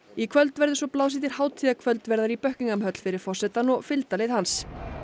í kvöld verður svo blásið til hátíðarkvöldverðar í Buckingham höll fyrir forsetann og fylgdarlið hans